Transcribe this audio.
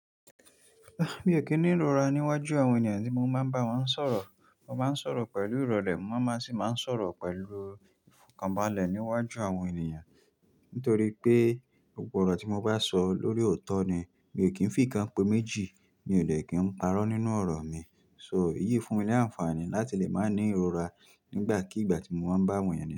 Mi ò kí ń ní ìrora níwájú àwọn ènìyàn tí mo máa ń bá wọn sọ̀rọ̀. Mo máa ń sọ̀rọ̀ pẹ̀lú ìrọ̀lẹ́, mo máa má sì máa ń sọ̀rọ̀ pẹ̀lú ìfọ̀kànbalẹ̀ níwájú àwọn ènìyàn. Nítorí pé, gbogbo ọ̀rọ̀ tí mo bá sọ lórí òótọ́ ni. Mi ò kí ń fìkanpe méjì mi ò dè kí ń parọ́ nínú ọ̀rọ̀ mi. So, iyí fún mi ní àǹfààní láti lè máa ní ìrora nígbàkigbà tí mo bá ń bá àwọn ènìyàn sọ̀rọ̀